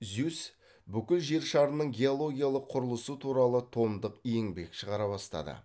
зюсс бүкіл жер шарының геологиялық құрылысы туралы томдық еңбек шығара бастады